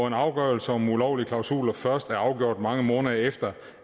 en afgørelse om ulovlige klausuler først er afgjort mange måneder efter